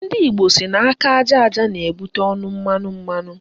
Ndị Igbo sị na aka aja aja na-ebute ọnụ mmanụ